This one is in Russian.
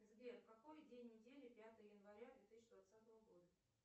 сбер какой день недели пятое января две тысячи двадцатого года